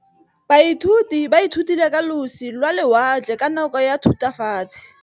Baithuti ba ithutile ka losi lwa lewatle ka nako ya Thutafatshe.